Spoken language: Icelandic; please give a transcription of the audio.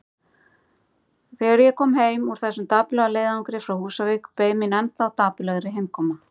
Þegar ég kom heim úr þessum dapurlega leiðangri frá Húsavík beið mín ennþá dapurlegri heimkoma.